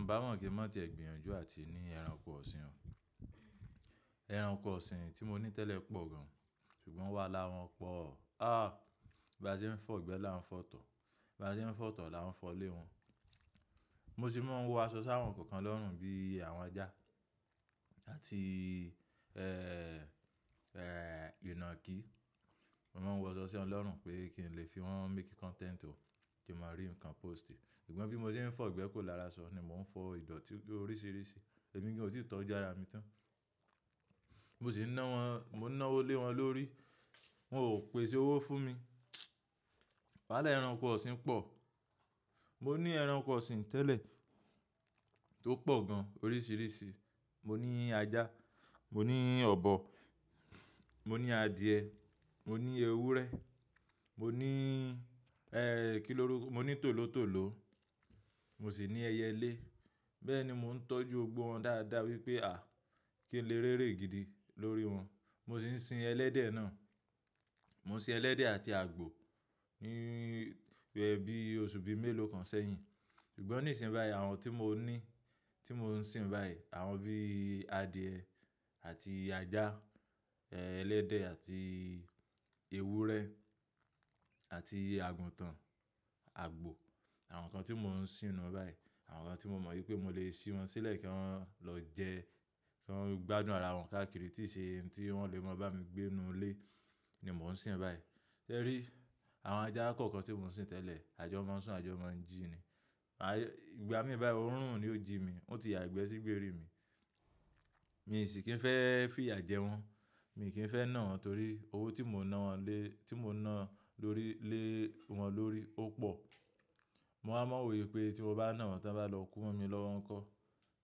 Nbá mọ́ kí mon tó ti ẹ gbin yanjú àti ní ẹranko ọ̀sìn. Ẹranko ọ̀sìn tí mo ní tẹ́lẹ̀ pọ̀ gan, ṣùgbọ́n wàhálà wọn pọ̀. Bí a ṣe ń fọ́ igbẹ́ la ń fọ itọ̀. Bí a ṣe ń fọ́ itọ̀ la ń fọ lé wọn. Mo sì máa ń wọ aṣọ sáwọ̀n kọ̀ọ̀kan lọ́rùn bíi àwọn ajá àti ìnákì. Mo máa ń wọ aṣọ sí won lọ́run pé kí n lè fi wọ́n make content o, kí máa rí nǹkan post. Ṣùgbọ́n bí mo ṣe ń fọ́ igbẹ́ kò lára sọ ni mò ń fọ ìdọ̀tí oríṣiríṣi. Ẹ̀mi gan otí tọ́ ju ara mi tán. Mo sì ń ná wọn, mo ná owọlé wọn lórí, wọ́n ò pé se owó fún mi. Wàhálà ẹranko ọ̀sìn pọ̀. Mo ní ẹranko ọ̀sìn tẹ́lẹ̀ tó pọ̀ gan oríṣiríṣi. Mo ní ajá, mo ní ọ̀bọ, mo ní adìyẹ, mo ní ewúrẹ́, mo ní, e, kí ló rú, mo ní tòlótòló, mo sì ní ẹyẹlé. Bẹ́ẹ̀ ni mò ń tọ́jú gbogbo wọn dáadáa wípé à kí ń lè rere gidi lórí wọn. Mo sì ń sin ẹlẹ́dẹ̀ náà. Mo ń sin ẹlẹ́dẹ̀ àti àgbò níbi oṣù bíi mélòó kan sẹ́yìn. Ṣùgbọ́n nísin bayí àwọn tí mo ní, tí mò ń sin báyìí, àwọn bíi adìẹ àti ajá, ẹlẹ́dẹ̀ àti ewúrẹ́ àti àgùntàn, àgbò. Àwọn nǹkan tí mò ń sínú báyìí, àwọn nǹkan tí mo mọ̀ wípé mo lè si wọn sílẹ̀ kí wọn lọ jẹ, kí wọn gbádùn ara wọn káàkiri tí ì ṣe ohun tí wọ́n lè máa bá mi gbé inú ilé ni mò ń sin báyìí. Tẹrí, àwọn ajá kọ̀ọ̀kan tí mò ń sin tẹ́lẹ̀, àjọ máa ń sùn, àjọ máa ń jí ni. Ìgbà mí báyìí oòrùn ni ó jí mi, ó ti ya ìgbẹ́ sí gbérí mi. Mi sì kì í fẹ́ fìyà jẹ wọ́n. Mi kì í fẹ́ ná wọn torí owó tí mò ń ná wọ́n lé, tí mò ń ná lórí lé wọn lórí ó pọ̀. Mo máa mọ̀ wípé tí mo bá ná wọn tán bá lọ kú mọ́ mi lọ́wọ́n kọ́.